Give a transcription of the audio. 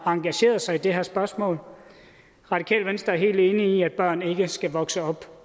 engageret sig i det her spørgsmål radikale venstre er helt enige i at børn ikke skal vokse op